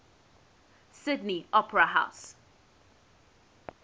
sydney opera house